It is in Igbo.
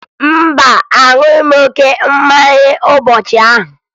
Mba, aṅụghị m oke mmanya ụbọchị ahụ